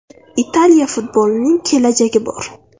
Italiya futbolining kelajagi bor.